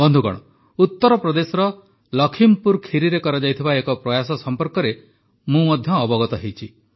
ବନ୍ଧୁଗଣ ଉତ୍ତରପ୍ରଦେଶର ଲଖିମପୁର ଖିରିରେ କରାଯାଇଥିବା ଏକ ପ୍ରୟାସ ସମ୍ପର୍କରେ ମଧ୍ୟ ମୁଁ ଅବଗତ ହୋଇଛି